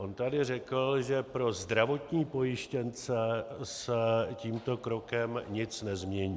On tady řekl, že pro zdravotní pojištěnce se tímto krokem nic nezmění.